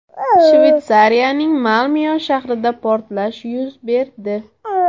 Shvetsiyaning Malmyo shahrida portlash yuz berdi.